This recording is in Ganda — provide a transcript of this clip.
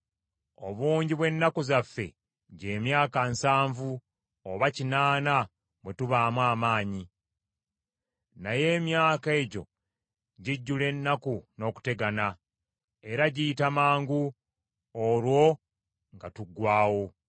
Obungi bw’ennaku zaffe gy’emyaka nsanvu, oba kinaana bwe tubaamu amaanyi. Naye emyaka egyo gijjula ennaku n’okutegana, era giyita mangu, olwo nga tuggwaawo.